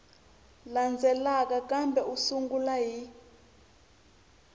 landzelaka kambe u sungula hi